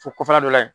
Fo kɔfɛla dɔ la yen